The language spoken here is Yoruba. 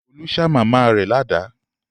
Olú ṣá màmá rẹ̀ ládàá.